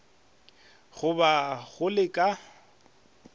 go ba go le ka